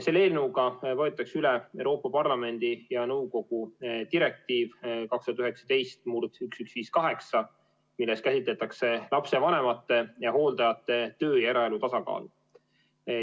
Selle eelnõuga võetakse üle Euroopa Parlamendi ja nõukogu direktiiv 2019/1158, milles käsitletakse lapsevanemate ja hooldajate töö- ja eraelu tasakaalu.